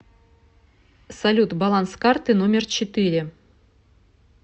салют баланс карты номер четыре